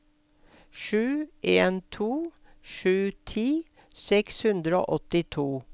sju en to sju ti seks hundre og åttito